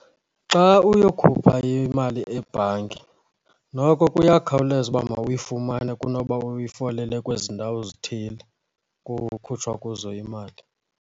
Xa uyokhupha imali ebhanki, noko kuyakhawuleza uba mawuyifumane kunoba uyifolele kwezi ndawo zithile kukhutshwa kuzo imali.